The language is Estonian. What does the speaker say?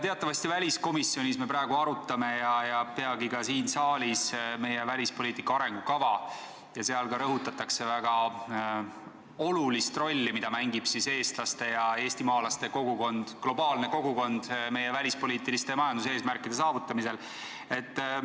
Teatavasti me arutame väliskomisjonis ja peagi ka siin saalis meie välispoliitika arengukava ja seal rõhutatakse, millist väga olulist rolli mängib eestlaste ja eestimaalaste kogukond, globaalne kogukond meie välispoliitiliste ja majanduseesmärkide saavutamisel.